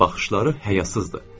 Baxışları həyasızdır.